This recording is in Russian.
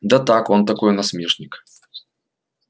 да так он такой насмешник